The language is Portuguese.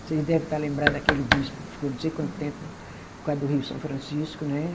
Vocês devem estar lembrados daquele bispo que ficou não sei quanto tempo por causa do Rio São Francisco, né?